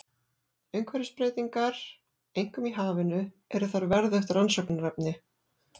Umhverfisbreytingar, einkum í hafinu, eru þar verðugt rannsóknarefni.